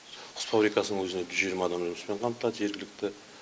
құс фабрикасының өзінде жүз жиырма адам жұмыспен қамтылады жергілікті